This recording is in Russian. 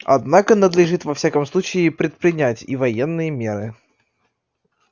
однако надлежит во всяком случае предпринять и военные меры